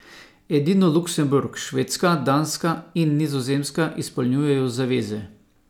Edino Luksemburg, Švedska, Danska in Nizozemska izpolnjujejo zaveze.